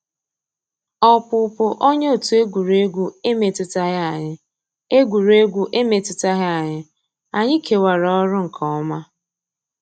Ọ́pụ́pụ́ ónyé ótú égwurégwu emétùtàghị́ ànyị́; égwurégwu emétùtàghị́ ànyị́; ànyị́ kèwàrà ọ́rụ́ nkè ọ́má.